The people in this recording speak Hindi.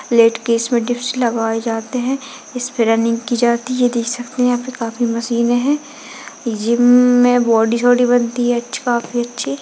लेट के इसमें डिप्स लगाये जाते हैं इस पर रनिंग की जाति है देख सकते हैं यहाँ पे काफी सारे मशीने हैं जिम में बॉडी शोडी बनती है अच्छी काफी अच्छी।